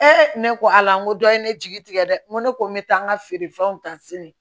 ne ko ala n ko dɔ ye ne jigi tigɛ dɛ n ko ne ko n bɛ taa n ka feerefɛnw ta sini